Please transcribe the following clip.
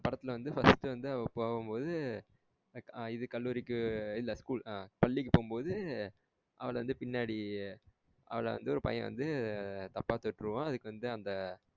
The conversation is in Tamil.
படத்துல வந்து first வந்துஅவ போகும் போது இது கல்லூரிக்கு இல்ல school ஆஹ்ன் பள்ளிக்கு போகும் போது அவள வந்து பின்னாடி அவள வந்து ஒரு பையன் வந்து தப்பா தொட்ட்ருவான் அதுக்கு வந்து அந்த.